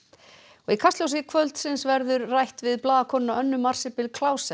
og í Kastljósi kvöldsins verður rætt við blaðakonuna Önnu Marsibil